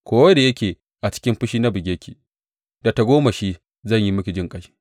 Ko da yake a cikin fushi na buge ki, da tagomashi zan yi miki jinƙai.